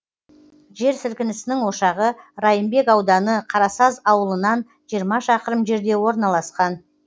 жер сілкінісінің ошағы райымбек ауданы қарасаз ауылынан жиырма шақырым жерде орналасқан